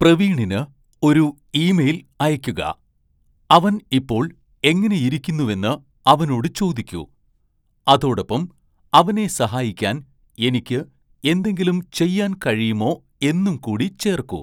പ്രവീണിന് ഒരു ഇമെയിൽ അയയ്ക്കുക, അവൻ ഇപ്പോൾ എങ്ങനെയിരിക്കുന്നുവെന്ന് അവനോട് ചോദിക്കൂ അതോടൊപ്പം അവനെ സഹായിക്കാൻ എനിക്ക് എന്തെങ്കിലും ചെയ്യാൻ കഴിയുമോ എന്നും കൂടി ചേർക്കൂ